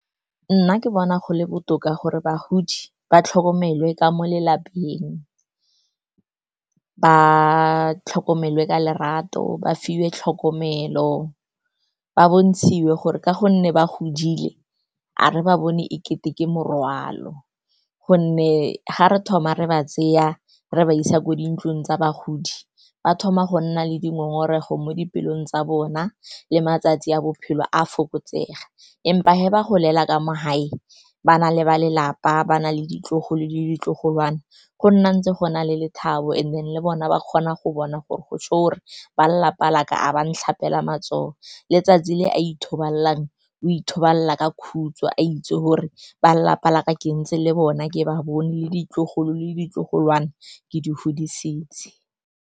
Nna ke bona gole botoka gore bagodi ba tlhokomelwe ka mo lelapeng, ba tlhokomelwa ka lerato, ba fiwe tlhokomelo, ba bontshitswe gore ka gonne ba godile, a re ba bone e kete ke morwalo. Gonne ga re thoma re ba tseya re ba isa ko dintlong tsa bagodi, ba thoma go nna le dingongorego mo dipelong tsa bona, le matsatsi a bophelo a fokotsega. Empa ge ba golela ka mo gae, ba na le ba lelapa, ba na le ditlogolo le ditlogolwana, go nna ntse go na le lethabo. And then le bona ba kgona go bona gore go gore ba lelapa laka ga ba ntlhapela matsogo. Le le etsatsi le a ithobalelang, o ithobalela ka khutso a itse gore ba lelapa laka ke ntse le bona, ke ba bone le ditlogolo le ditlogolwana ke di godisitse.